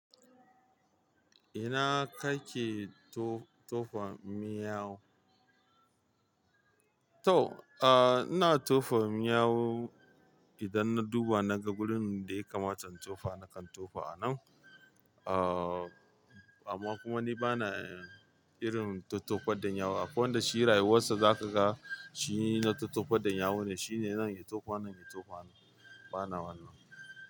Ina kake to-tofa miyau? To, ah, ina tofa miyau idan na duba na ga wurin da ya kamata in tofa na kan tofa a nan. Ah, amma kuma ni bana irin tottofar da yawu. Akwai wanda shi rayuwarsa za ka ga shi na tottofar da yawu ne, shi ne nan ya tofa, nan ya tofa. Bana wannan.